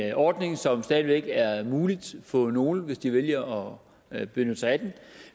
en ordning som stadig væk er mulig for nogle at bruge hvis de vælger at benytte sig af den